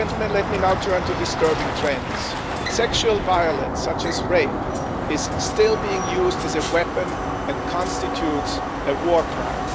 Let me now turn to disturbing trends sexual violence, including rape, is still being used as a weapon and constitutes a war crime.